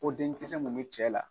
O denkisɛ mun cɛ la